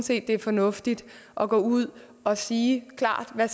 det er fornuftigt at gå ud og sige klart hvad